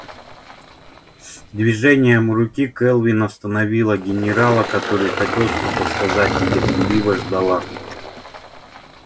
движением руки кэлвин остановила генерала который хотел что-то сказать и терпеливо ждала